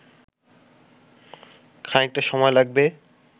খানিকটা সময় লাগবে